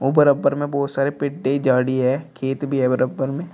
ऊपर अपर में बहोत सारे झाड़ी है खेत भी है बराबर में।